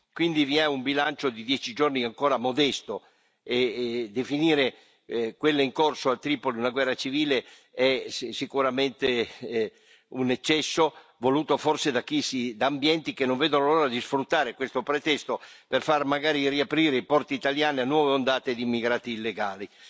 Quindi vi è un bilancio di dieci giorni ancora modesto e definire quella in corso a Tripoli una guerra civile è sicuramente un eccesso, voluto forse da ambienti che non vedono l'ora di sfruttare questo pretesto per far magari riaprire i porti italiani a nuove ondate di immigrati illegali.